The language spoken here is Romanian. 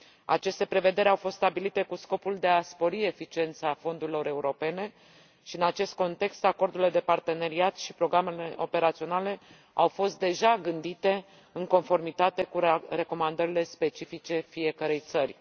Aceste prevederi au fost stabilite cu scopul de a spori eficiența fondurilor europene și, în acest context, acordurile de parteneriat și programele operaționale au fost deja gândite în conformitate cu recomandările specifice fiecărei țări.